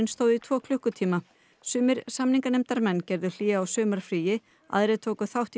stóð í tvo klukkutíma sumir samninganefndarmenn gerðu hlé á sumarfríi aðrir tóku þátt